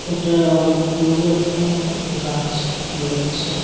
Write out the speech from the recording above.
এটা অনেক পুরনো একটা গাছ বোঝা যাচ্ছে।